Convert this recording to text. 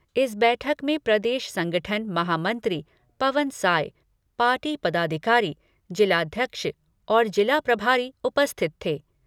इस बैठक में प्रदेश संगठन महामंत्री पवन साय, पार्टी पदाधिकारी, जिलाध्यक्ष और जिला प्रभारी उपस्थित थे।